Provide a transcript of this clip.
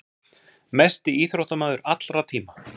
Mesti íþróttamaður allra tíma.